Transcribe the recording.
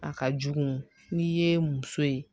A ka jugu n'i ye muso ye